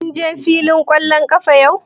Kun je fillin ƙwallon ƙafa jiya?